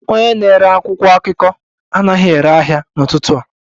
Onye na-ere akwụkwọ akụkọ anaghị ere ahịa n'ụtụtụ a